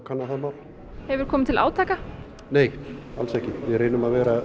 kanna það hefur komið til átaka nei alls ekki við reynum að vera